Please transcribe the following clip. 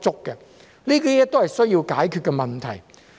這些都是需要解決的問題。